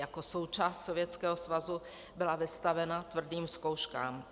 Jako součást Sovětského svazu byla vystavena tvrdým zkouškám.